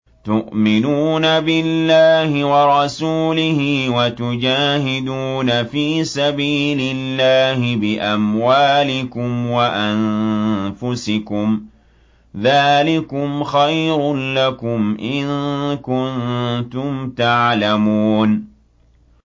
تُؤْمِنُونَ بِاللَّهِ وَرَسُولِهِ وَتُجَاهِدُونَ فِي سَبِيلِ اللَّهِ بِأَمْوَالِكُمْ وَأَنفُسِكُمْ ۚ ذَٰلِكُمْ خَيْرٌ لَّكُمْ إِن كُنتُمْ تَعْلَمُونَ